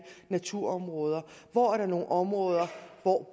naturområder hvor er der nogen områder hvor